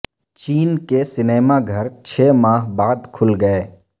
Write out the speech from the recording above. چین کے سنیما گھر چھ ماہ بعد کھل گئے